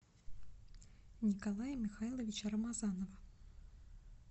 николая михайловича рамазанова